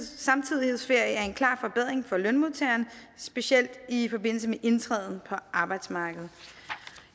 så samtidighedsferie er en klar forbedring for lønmodtagerne specielt i forbindelse med indtræden på arbejdsmarkedet